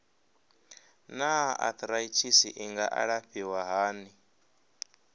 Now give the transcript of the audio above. naa arthritis i nga alafhiwa hani